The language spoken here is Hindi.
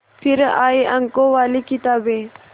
फिर आई अंकों वाली किताबें